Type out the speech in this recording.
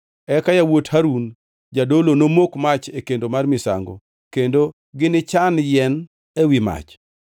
Eka yawuot Harun jadolo nomok mach e kendo mar misango, kendo ginichan yien ewi mach.